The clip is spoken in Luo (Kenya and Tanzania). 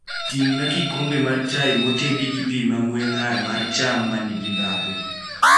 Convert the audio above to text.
Timna kikombe mar chai motedi gi pi mang'we ng'ar mar cham ma nigi ndhadhu